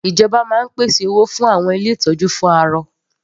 Ìjọba máa ń pèsè owó fún àwọn ilé ìtọ́jú fún arọ.